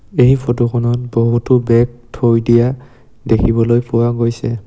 এই ফটোখনত বহুতো বেগ থৈ দিয়া দেখিবলৈ পোৱা গৈছে।